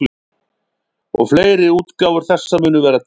Og fleiri útgáfur þessa munu vera til.